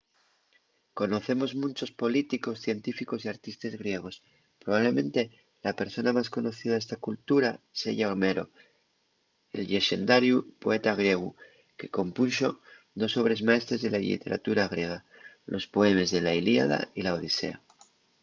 conocemos munchos políticos científicos y artistes griegos. probablemente la persona más conocida d’esta cultura seya homero el llexendariu poeta griegu que compunxo dos obres maestres de la lliteratura griega: los poemes de la iliada y la odisea